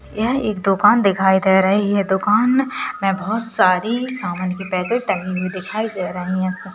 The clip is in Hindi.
यह एक दुकान दिखाई दे रही है दुकान में बहोत सारी सामान की पैकेट टंगी हुई दिखाई दे रही है।